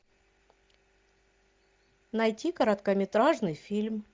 найти короткометражный фильм